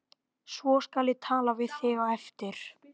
Svo skal ég tala við þig á eftir